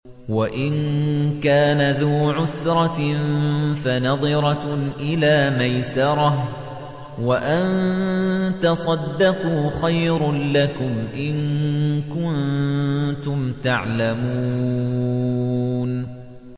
وَإِن كَانَ ذُو عُسْرَةٍ فَنَظِرَةٌ إِلَىٰ مَيْسَرَةٍ ۚ وَأَن تَصَدَّقُوا خَيْرٌ لَّكُمْ ۖ إِن كُنتُمْ تَعْلَمُونَ